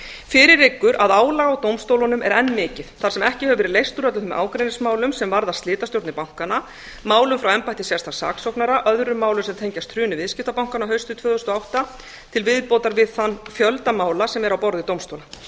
fyrir liggur að álag á dómstólunum er enn mikið þar sem ekki hefur verið leyst úr öllum ágreiningsmálum sem varðar slitastjórnir bankanna málum frá embætti sérstaks saksóknara öðrum málum sem tengjast hruni viðskiptabankanna haustið tvö þúsund og átta til viðbótar við þann fjölda mála sem er á borði dómstóla